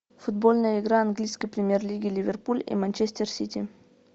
футбольная игра английской премьер лиги ливерпуль и манчестер сити